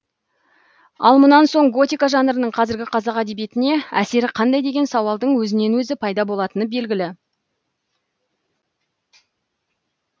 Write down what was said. ал мұнан соң готика жанрының қазіргі қазақ әдебиетіне әсері қандай деген сауалдың өзінен өзі пайда болатыны белгілі